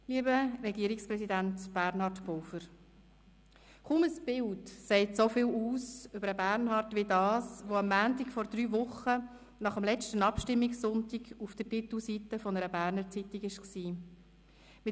Lieber Regierungspräsident Bernhard Pulver, kaum ein Bild sagt so viel aus über Bernhard wie das, das am Montag vor drei Wochen nach dem letzten Abstimmungssonntag auf der Titelseite einer «Berner Zeitung» zu sehen war: